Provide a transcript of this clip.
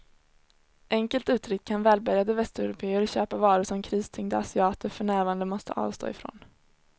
Enkelt uttryckt kan välbärgade västeuropéer köpa varor som kristyngda asiater för närvarande måste avstå ifrån.